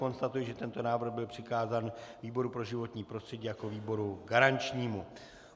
Konstatuji, že tento návrh byl přikázán výboru pro životní prostředí jako výboru garančnímu.